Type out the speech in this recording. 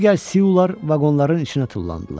Digər Siular vaqonların içinə tullandılar.